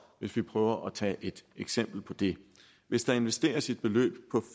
vi prøver at tage et eksempel på det hvis der investeres et beløb på